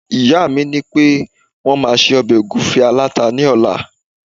ìyá mi ni pe won ma se obe ogunfe alata ni ọla